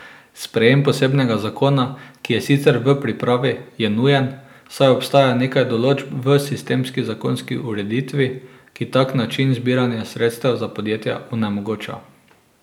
Sprejem posebnega zakona, ki je sicer v pripravi, je nujen, saj obstaja nekaj določb v sistemski zakonski ureditvi, ki tak način zbiranja sredstev za podjetja onemogoča.